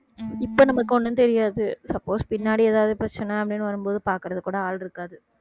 இப்ப நமக்கு ஒண்ணும் தெரியாது suppose பின்னாடி ஏதாவது பிரச்சனை அப்படின்னு வரும்போது பாக்குறதுக்கு கூட ஆள் இருக்காது